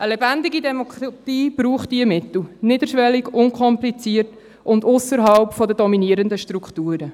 Eine lebendige Demokratie braucht diese Mittel – niederschwellig, unkompliziert und ausserhalb der dominierenden Strukturen.